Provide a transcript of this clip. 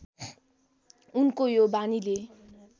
उनको यो बानीले